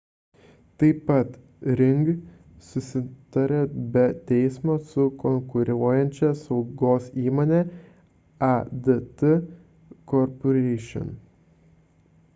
taip pat ring susitarė be teismo su konkuruojančia saugos įmone adt corporation